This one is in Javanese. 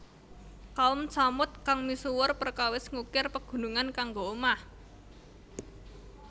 Kaum Tsamud kang misuwur perkawis ngukir pegunungan kanggo omah